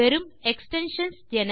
வெறும் எக்ஸ்டென்ஷன்ஸ் என